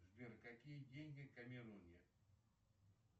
сбер какие деньги в камеруне